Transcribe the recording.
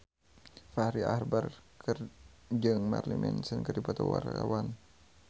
Fachri Albar jeung Marilyn Manson keur dipoto ku wartawan